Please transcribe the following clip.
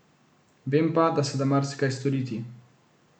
Vem pa, da se da marsikaj storiti.